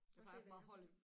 Bare se hvad det her er